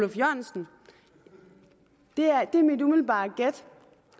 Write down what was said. oluf jørgensen det er mit umiddelbare har